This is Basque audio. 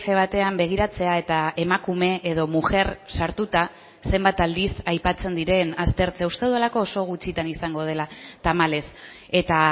batean begiratzea eta emakume edo mujer sartuta zenbat aldiz aipatzen diren aztertzea uste dudalako oso gutxitan izango dela tamalez eta